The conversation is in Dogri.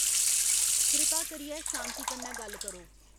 कृपा करियै शांति कन्नै गल्ल करो